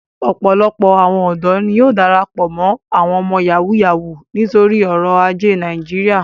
Opolopo awon odo ni yóò darapo mo awọn ọmọ Yahoo Yahoo nitori oro aje Naijiria.